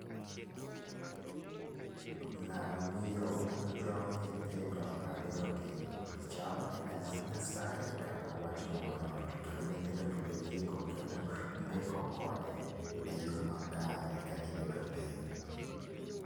Ng'ama miyo puonjo nyithindo ariyogi. Chalo ni en wach nyasaye kata wach moro to kendo nyithindo gi be lieko kendo mbeko kode e yoo makare ka gibedo piny.